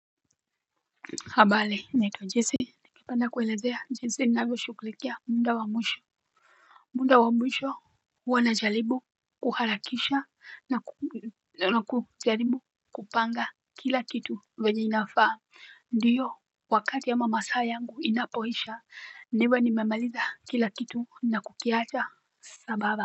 Habari naitwa jesse ningependa kuelezea jinsi ninavyoshughulikia muda wa mwisho muda wa mwisho huwa najaribu kuharakisha na kujaribu kupanga kila kitu venya inafaa ndio wakati ama masaa yangu inapoisha niwe nimemaliza kila kitu na kukiacha sambamba.